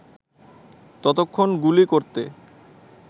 ততক্ষণ গুলি করতে